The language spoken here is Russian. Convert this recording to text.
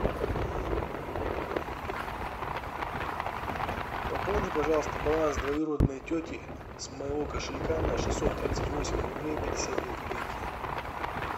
пополни пожалуйста баланс двоюродной тети с моего кошелька на шестьсот тридцать восемь рублей пятьдесят две копейки